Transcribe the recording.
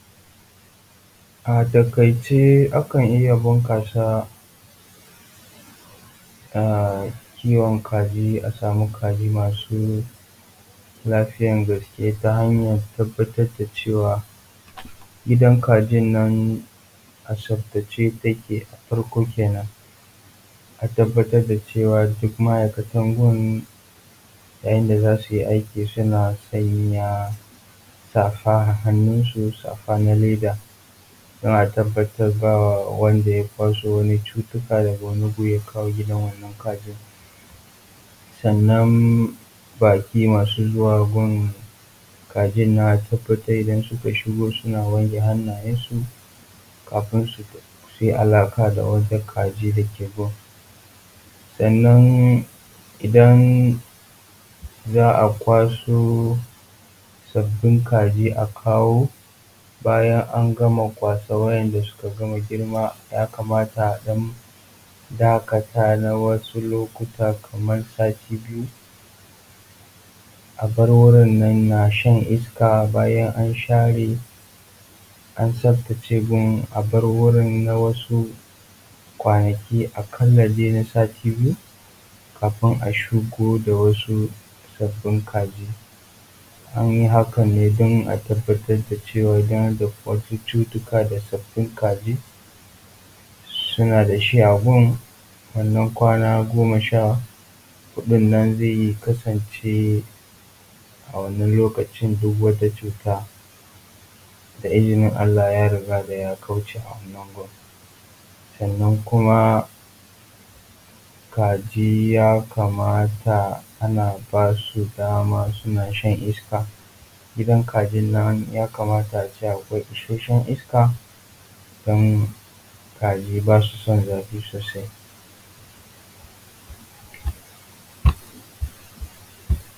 A takaice akan iya bunkasa a kiwon kaji asamu kaji masu lafiyan gaske ta hanya tabatar dacewa gidan kaji nan a tsaftace take afarko kenan a tabatar dacewa duk ma aikatan gurin yayin da zasuyi aiki sunan sanya safa a hannu su safa na leda dan a tabatar bawanda ya kwasu wanin cutuka daga wanin gu yakawo gidan wanan kajin sanan baki masu zuwa gun kajin nan a tabatar idan suka shigo sunan wanke hannayansu kafi suyi alaka da wata kaji dake gun sanan idan za akwaso sabin kaji akawo bayan angama kwashe wanda sukagama girma yakamata adan dakata na wasu lokutan kamar sati biyu abar wurinan nashan iska bayan an share an tsaftace wurin abar wurin na wasu kwanaki akala zai nasati biyu kafinin ashigo da wasu sabin kaji anyi hakan ne dan a tabatar dacewa idan da kwai wasu cucuttuka da sabin kaji sunan da shi a gun wanan kwana goma shahudun nan zai iya kasance a wanan lokacin duk wata cuta da izinin Allah yaruga da ya kauce awanan agun sanan kuma kaji ya ka mata anan basu daman sunan shan iska gidan kaji nan yakamata ace akwai ishashan iska dan kaji basu san zafi sosai